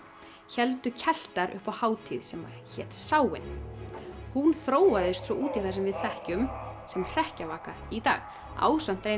héldu upp á hátíð sem hét Samhain hún þróaðist svo út í það sem við þekkjum sem hrekkjavaka í dag ásamt